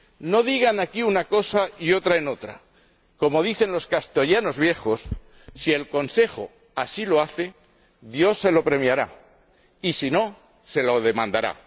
No digan aquí una cosa y otra allí. Como dicen los castellanos viejos, si el Consejo así lo hace, Dios se lo premiará y, si no, se lo demandará.